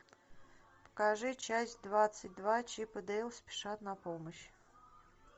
покажи часть двадцать два чип и дейл спешат на помощь